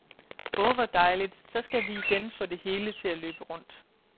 Åh hvor dejligt, så skal vi igen få det hele til at løbe rundt.